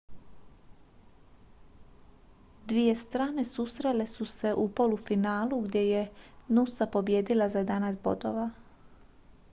dvije strane susrele su se u polufinalu gdje je noosa pobijedila za 11 bodova